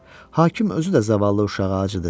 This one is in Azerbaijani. Hakim özü də zavallı uşağa acıdı.